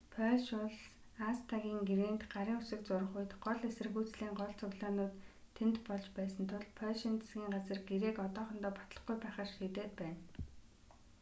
польш улс аста-н гэрээнд гарын үсэг зурах үед гол эсэргүүцлийн гол цуглаанууд тэнд болж байсан тул польшийн засгийн газар гэрээг одоохондоо батлахгүй байхаар шийдээд байна